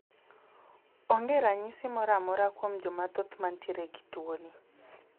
Onge ranyisi moro amora kuom Joma thoth mantiere gi tuoni